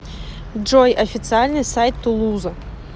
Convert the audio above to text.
джой официальный сайт тулуза